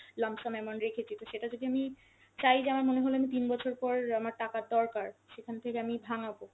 lump sum amount রেখেছি, তো সেটা যদি আমি চাই যে আমার মনে হল আমি তিন বছর পর আমার টাকার দরকার, সেখান থেকে আমি ভাঙ্গাবো